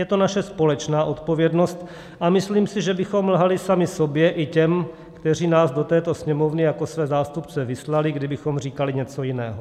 Je to naše společná odpovědnost a myslím si, že bychom lhali sami sobě i těm, kteří nás do této Sněmovny jako své zástupce vyslali, kdybychom říkali něco jiného.